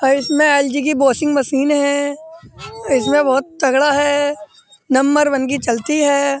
और इसमें एल.जी. की वाशिंग मशीन हैं इसमें बहुत तगड़ा है नंबर वन पर चलती है।